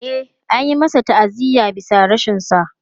E, an yi masa ta'aziyya bisa rashinsa.